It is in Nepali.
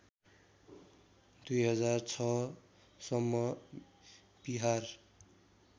२००६ सम्म विहार